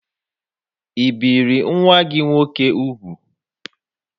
I biri nwa-gi nwoke úgwù?